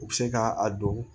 U bɛ se ka a don